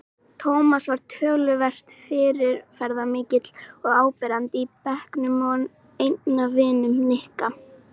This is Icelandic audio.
Tómas var töluvert fyrirferðarmikill og áberandi í bekknum og einn af vinum Nikka.